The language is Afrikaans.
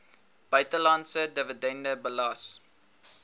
buitelandse dividende belas